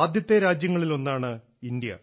ആദ്യത്തെ രാജ്യങ്ങളിലൊന്നാണ് ഇന്ത്യ